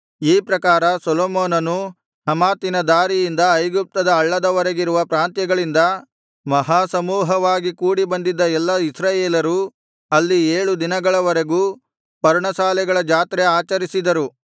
ಈ ಪ್ರಕಾರ ಸೊಲೊಮೋನನೂ ಹಮಾತಿನ ದಾರಿಯಿಂದ ಐಗುಪ್ತದ ಹಳ್ಳದ ವರೆಗಿರುವ ಪ್ರಾಂತ್ಯಗಳಿಂದ ಮಹಾ ಸಮೂಹವಾಗಿ ಕೂಡಿಬಂದಿದ್ದ ಎಲ್ಲಾ ಇಸ್ರಾಯೇಲರೂ ಅಲ್ಲಿ ಏಳು ದಿನಗಳವರೆಗೂ ಪರ್ಣಶಾಲೆಗಳ ಜಾತ್ರೆ ಆಚರಿಸಿದರು